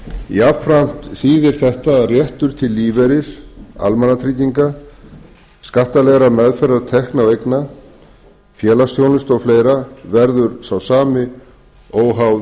jafnframt þýðir þetta að réttur til lífeyris almannatrygginga skattalegrar meðferðar tekna og eigna félagsþjónustu og fleira verður sá sami óháð